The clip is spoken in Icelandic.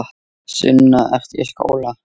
Sunna: Ertu í skóla?